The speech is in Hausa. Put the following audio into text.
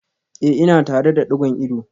Eh ina tare da digon ido